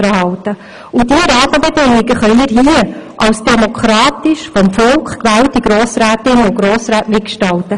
Diese Rahmenbedingungen können wir als demokratisch vom Volk gewählte Grossrätinnen und Grossräte mitgestalten.